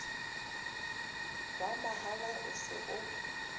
wa mahala o se o